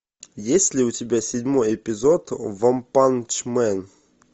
есть ли у тебя седьмой эпизод ванпанчмен